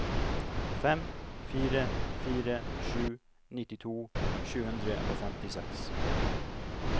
fem fire fire sju nittito sju hundre og femtiseks